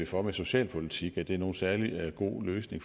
for med socialpolitik er nogen særlig god løsning